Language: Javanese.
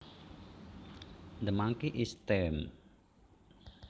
The monkey is tame